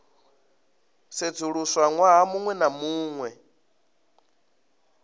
sedzuluswa ṅwaha muṅwe na muṅwe